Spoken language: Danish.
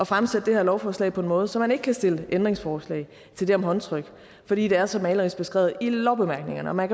fremsætte det her lovforslag på en måde så man ikke kan stille ændringsforslag til det om håndtryk fordi det er så malerisk beskrevet i lovbemærkningerne og man